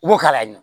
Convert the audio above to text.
I b'o k'a la